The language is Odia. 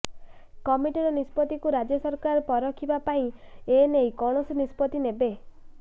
କମିଟିର ନିଷ୍ପତ୍ତିକୁ ରାଜ୍ୟ ସରକାର ପରଖିବା ପରେ ଏନେଇ କୌଣସି ନିଷ୍ପତ୍ତି ନେବେ